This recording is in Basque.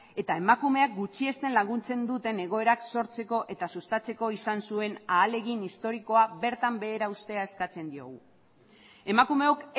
eta emakumeak gutxiesten laguntzen dute egoerak sortzeko eta sustatzeko izan zuen ahalegin historikoa bertan behera uztea eskatzen diogu emakumeok